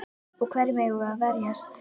Og hverjum eigum við að verjast?